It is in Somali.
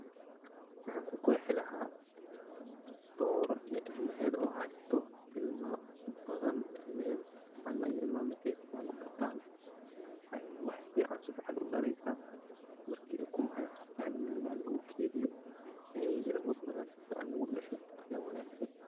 maxan ku qeexi lahaa dora iyo ilmaheda oo hasato ilma badan, ilmaheda si fican ilmaheda markay si fican u bataan ayay wax fican si fican udhaleysa marki ukumaha waxaa fican in lakediyo eey ilma badan si fican ay udhasho aya wanaagsan